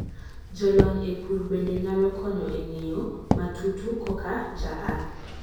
jolony e pur bende nyalo konyo e ng'eyo matutu koka jaath